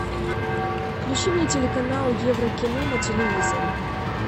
включи мне телеканал еврокино на телевизоре